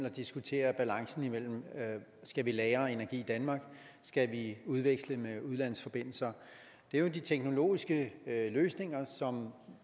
at diskutere balancen mellem at lagre energi i danmark og at udveksle med udlandsforbindelser det er de teknologiske løsninger